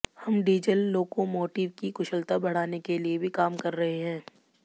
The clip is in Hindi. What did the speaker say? हम डीजल लोकोमोटिव की कुशलता बढ़ाने के लिए भी काम कर रहे हैं